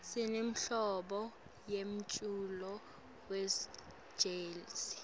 sinenhlobo yemculo wejezi